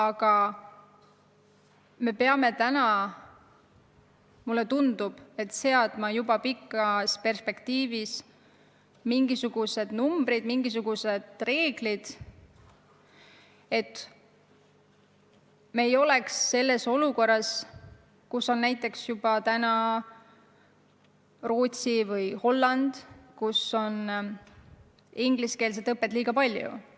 Aga mulle tundub, et me peame mingil hetkel üles seadma pikka perspektiivi silmas pidavad numbrid, kehtestama mingisugused reeglid, et me ei oleks ühel päeval selles olukorras, kus on juba praegu Rootsi või Holland, kus on ingliskeelset õpet liiga palju.